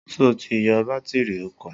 Sọ ti yọ bátírì ọkọ̀?